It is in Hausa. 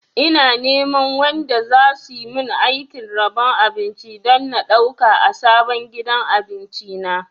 Ina neman wanda zasu min aikin rabon abinci don na ɗauka a sabon gidan abinci na